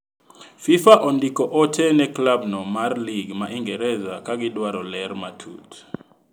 Fifa ondiko ote ne klab no mar lig ma Ingeresa ka gidwaro ler matut.